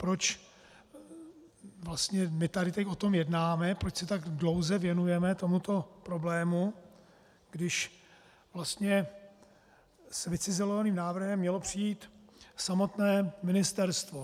Proč vlastně my tady teď o tom jednáme, proč se tak dlouze věnujeme tomuto problému, když vlastně s vycizelovaným návrhem mělo přijít samotné ministerstvo?